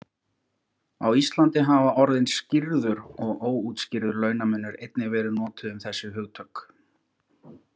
Á Íslandi hafa orðin skýrður og óútskýrður launamunur einnig verið notuð um þessi hugtök.